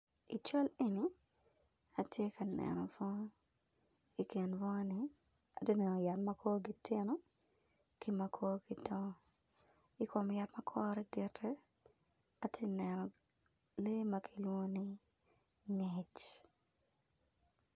I cal eni atye ka neno bunga ikin bunga ni atye ka neno yat ma korgi tino ki ma korgi dongo ikom yat ma kore dit-ti atye kaneno lee ma kilwongo ni ngec.